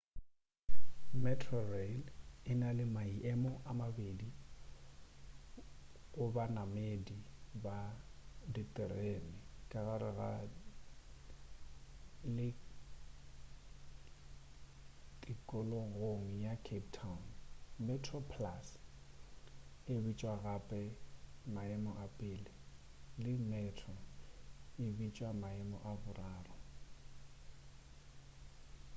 metrorail e na le maemo a mabedi go banamedi ba ditereni ka gare le tikologong ya cape town: metroplus e bitšwa gape maemo a pele le metro e bitšwa maemo a boraro